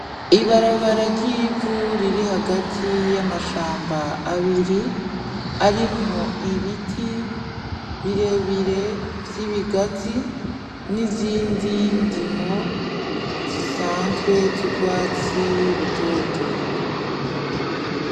Ibarabara ry'ivu riri hagati y'amashamba abiri, arimwo ibiti birebire vy'ibigazi n'izindi ndimo zisanzwe z'ugwatsi rutoto.